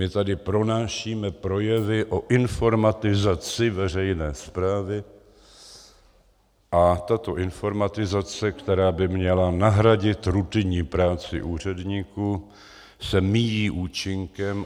My tady pronášíme projevy o informatizaci veřejné správy a tato informatizace, která by měla nahradit rutinní práci úředníků, se míjí účinkem.